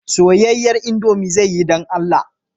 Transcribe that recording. Soyayyen indomie zai yi don Allah